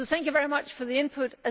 Thank you very much for the input.